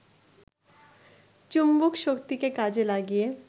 চুম্বকশক্তিকে কাজে লাগিয়ে